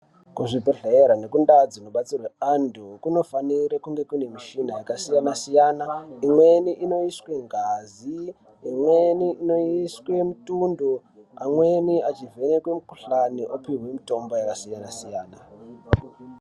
Kuzvibhedhleya nekumdaa dzinobatsirwe anymtu kunofanira kunge kune michina yakasiyana siyana imweni inoiswe ngazi, imweni inoiswe mutundo amweni achivhenekwe mukuhlani opihwe mitombo yakasiyana siyana.